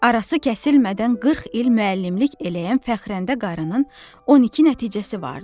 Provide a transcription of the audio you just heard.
Arası kəsilmədən 40 il müəllimlik eləyən Fəxrəndə qarının 12 nəticəsi vardı.